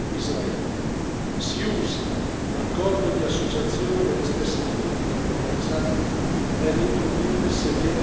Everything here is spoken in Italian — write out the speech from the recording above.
Si usi l'accordo di associazione e le stesse politiche commerciali per introdurre severe condizionalità.